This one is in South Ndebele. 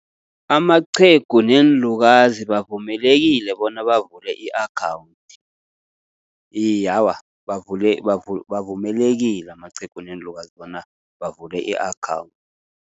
Amaqhegu neenlukazi bavumelekile bona bavule i-akhawunthi. Iye, awa, bavumelekile amaqhegu neenlukazi bona bavule i-account.